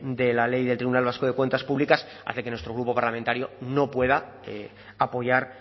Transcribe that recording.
de la ley del tribunal vasco de cuentas públicas hace que nuestro grupo parlamentario no pueda apoyar